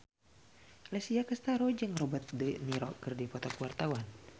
Alessia Cestaro jeung Robert de Niro keur dipoto ku wartawan